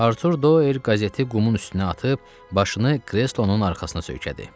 Artur Doer qəzeti qumun üstünə atıb başını kreslonun arxasına söykədi.